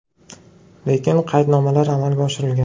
Lekin qaydnomalar amalga oshirilgan.